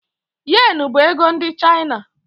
Yen bụ ego ndị China